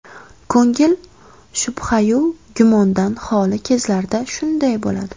Ko‘ngil shubhayu gumondan xoli kezlarda shunday bo‘ladi.